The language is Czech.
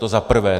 To za prvé.